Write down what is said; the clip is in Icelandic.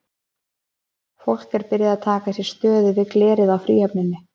Fólk er byrjað að taka sér stöðu við glerið í Fríhöfninni.